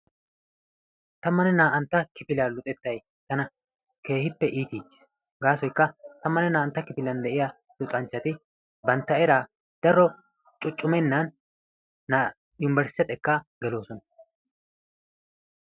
Tammane naa''aantta kifiliya luxettay tana keehippe iitichchis. Gasoykka tammane naa''aantta kifiliyan deiyaa luxanchchati bantta eraa daro cuccumenan na yunbersttiya xekka geloosona.